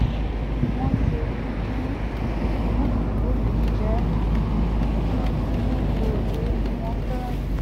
wọ́n ṣe gúgúrú wọ́n sì jókòó jẹ́ẹ́ bí wọ́n tí ń wo eré tí wọ́n fẹ́ràn jù lọ